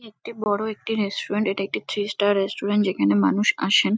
একটি বড়ো একটি রেস্টুরেন্ট এটা একটি থ্রি স্টার রেস্টুরেন্ট যেখানে মানুষ আসেন।